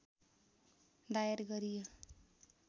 दायर गरियो